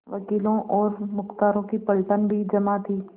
वकीलों और मुख्तारों की पलटन भी जमा थी